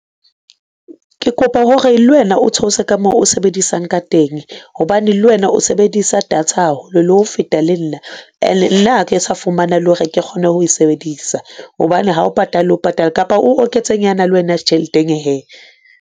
Ke kopa hore lwena o theose ka moo o sebedisang ka teng hobane lwena o sebedisa data haholo le ho feta le nna ene nna ha ke sa fumana le hore ke kgone ho e sebedisa hobane ha o patale le o patala kapa o oketse nyana lwena tjheleteng hee.